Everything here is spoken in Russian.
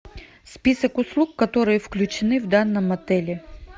список услуг которые включены в данном отеле